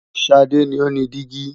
Sade ni o ni digi